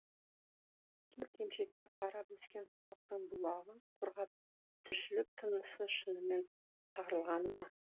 төрт емшекке қарап өскен халықтың бұлағы құрғап тіршілік тынысы шынымен тарылғаны ма